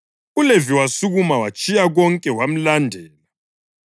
uLevi wasukuma watshiya konke wamlandela.